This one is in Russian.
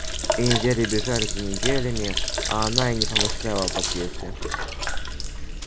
и недели бежали за неделями а она и не помышляла об отъезде